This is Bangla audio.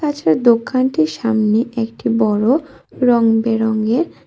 দোকানটির সামনে একটি বড়ো রঙ বেরঙের--